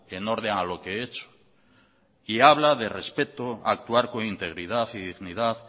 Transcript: en orden a lo que he hecho y habla de respeto actuar con integridad y dignidad